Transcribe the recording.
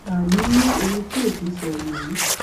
àní ní ohun tí òfin sọ nìyí